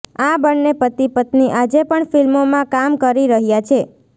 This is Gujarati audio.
આ બંને પતિ પત્ની આજે પણ ફિલ્મોમાં કામ કરી રહ્યા છે